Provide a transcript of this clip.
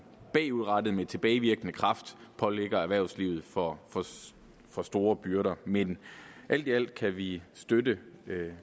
bagudrettet altså med tilbagevirkende kraft pålægger erhvervslivet for for store byrder men alt i alt kan vi støtte